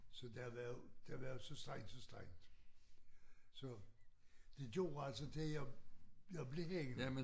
Så der var jo der var så stræjnnt så stræjnnt så det gjorde altså til jeg jeg blev hængende